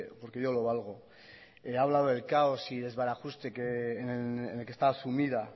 porque yo lo valgo ha hablado del caos y desbarajuste que en el que está asumida